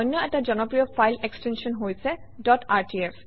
অন্য এটা জনপ্ৰিয় ফাইল এক্সটেনশ্যন হৈছে ডট rtf